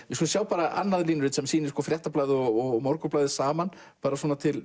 við skulum sjá annað línurit sem sýnir Fréttablaðið og Morgunblaðið saman bara til